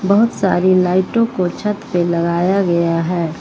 बहुत सारी लाइटों को छत पे लगाया गया है।